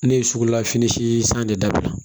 Ne ye sugula fini sii san ne dabila